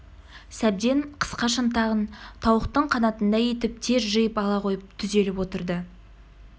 сәбден қысқа шынтағын тауықтың қанатындай етіп тез жиып ала қойып түзеліп отырды